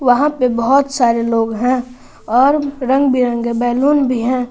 वहां पे बहोत सारे लोग हैं और रंग बिरंगे बैलून भी हैं।